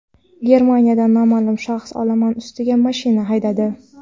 Germaniyada noma’lum shaxs olomon ustiga mashina haydadi.